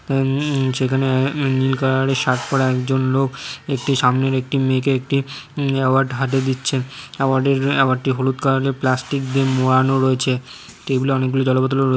উম_উম সেখানে উম নীল কালার -এর শার্ট পরা একজন লোক একটি সামনেরএকটি মেয়েকে একটি অ্যাওয়ার্ড হাতে দিচ্ছেন । অ্যাওয়ার্ড -এর অ্যাওয়ার্ড -টি হলুদ কালার -এর প্লাস্টিক দিয়ে মোড়ানো রয়েছে । টেবিল - এ অনেক গুলো জলের বোতলও--